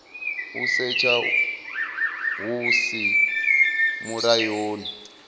u setsha hu si mulayoni